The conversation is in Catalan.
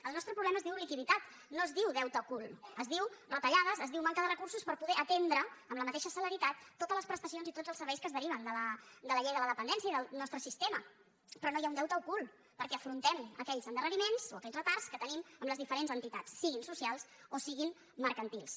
el nostre problema es diu liquiditat no es diu deute ocult es diu retallades es diu manca de recursos per poder atendre amb la mateixa celeritat tots les prestacions i tots els serveis que es deriven de la llei de la dependència i del nostre sistema però no hi ha un deute ocult perquè afrontem aquells endarre·riments o aquells retards que tenim amb les diferents entitats siguin socials o siguin mercantils